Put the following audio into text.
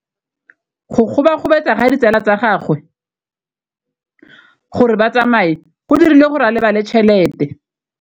Go gobagobetsa ga ditsala tsa gagwe, gore ba tsamaye go dirile gore a lebale tšhelete.